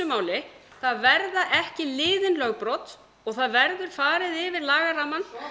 máli það verða ekki liðin lögbrot og það verður farið yfir lagarammann